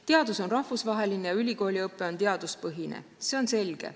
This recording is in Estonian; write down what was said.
Teadus on rahvusvaheline ja ülikooliõpe on teaduspõhine, see on selge.